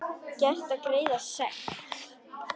Gert að greiða sekt?